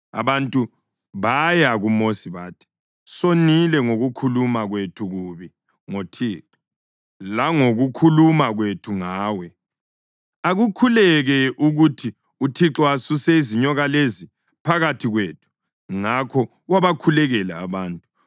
Abantu baya kuMosi bathi, “Sonile ngokukhuluma kwethu kubi ngoThixo langokukhuluma kwethu ngawe. Akukhuleke ukuthi uThixo asuse izinyoka lezi phakathi kwethu.” Ngakho wabakhulekela abantu.